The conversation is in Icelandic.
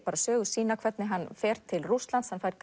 sögu sína hvernig hann fer til Rússlands hann fær